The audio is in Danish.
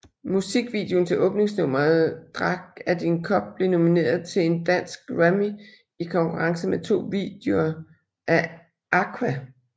Musikvideoen til åbningsnummeret Drak Af Din Kop blev nomineret til en Dansk Grammy i konkurrence med to videoer af Aqua